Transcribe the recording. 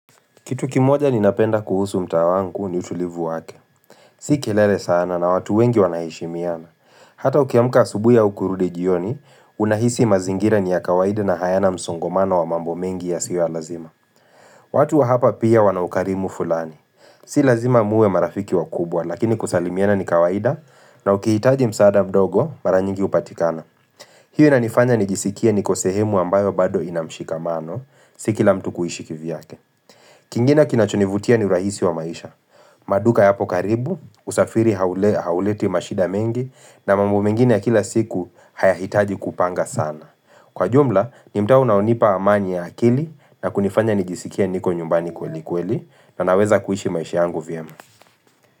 Kitu kimoja ni napenda kuhusu mtaa wangu ni utulivu wake Si kelele sana na watu wengi wana heshimiana Hata ukiamka asubuhi au kurudi jioni Unahisi mazingira ni ya kawaida na hayana msongomano wa mambo mengi yasio ya lazima watu wa hapa pia wana ukarimu fulani Si lazima muwe marafiki wa kubwa Lakini kusalimiana ni kawaida na ukihitaji msaada mdogo mara nyingi hupatikana hiyo inanifanya ni jisikie niko sehemu ambayo bado inamshikamano si kila mtu kuishi kivyake kingine kinachonivutia ni urahisi wa maisha. Maduka yapo karibu, usafiri hau hauleti mashida mengi na mambo mengine ya kila siku haya hitaji kupanga sana. Kwa jumla, ni mtaa unaonipa amani ya akili na kunifanya nijisikie niko nyumbani kweli kweli na naweza kuishi maisha yangu vyema.